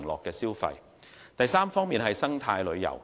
第三，發展生態旅遊。